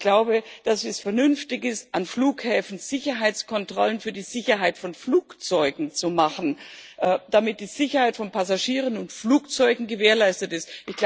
Ich glaube, dass es vernünftig ist, an Flughäfen Sicherheitskontrollen für die Sicherheit von Flugzeugen zu machen, damit die Sicherheit von Passagieren und Flugzeugen gewährleistet ist.